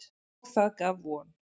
Og það gaf von.